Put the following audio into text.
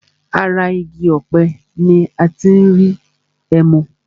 Ara igi ọ̀pẹ ní a tí n rí ẹmu.